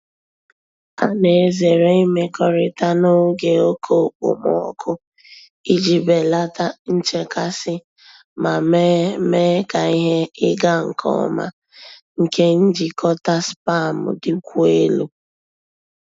A na-ezere imekọrịta n'oge oke okpomọkụ iji belata nchekasị ma mee mee ka ihe ịga nke ọma nke njikọta spam dịkwuo elu.